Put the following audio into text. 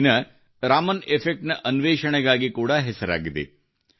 ಈ ದಿನ ರಾಮನ್ ಎಫೆಕ್ಟ್ ನ ಅನ್ವೇಷಣೆಗಾಗಿ ಕೂಡಾ ಹೆಸರಾಗಿದೆ